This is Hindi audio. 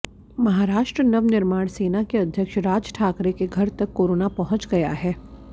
महाराष्ट्र नवनिर्माण सेना के अध्यक्ष राज ठाकरे के घर तक कोरोना पहुंच गया है